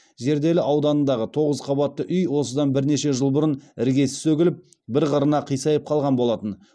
зерделі ауданындағы тоғыз қабатты үй осыдан бірнеше жыл бұрын іргесі сөгіліп бір қырына қисайып қалған болатын